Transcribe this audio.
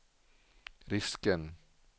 risken